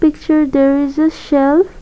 picture there is a shelf